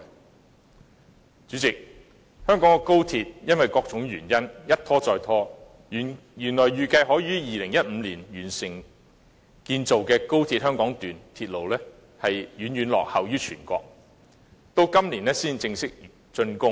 代理主席，香港的高鐵因為各種原因一再拖延，原來預計可於2015年完成建造的香港段鐵路遠遠落後於全國，到今年才正式竣工。